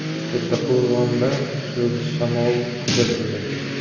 Kattaqo‘rg‘onda kuchli shamol kuzatildi.